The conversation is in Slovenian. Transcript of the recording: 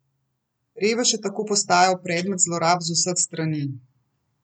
Revež je tako postal predmet zlorab z vseh strani.